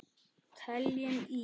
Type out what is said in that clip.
Teljum í!